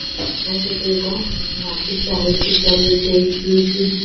हा फोटो एका मार्केट चा आहे खुप सारे येथे स्वीट चे--